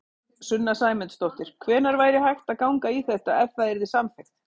Sunna Sæmundsdóttir: Hvenær væri hægt að ganga í þetta, ef það yrði samþykkt?